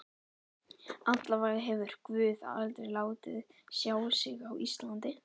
Allavega hefur guð aldrei látið sjá sig á Íslandi.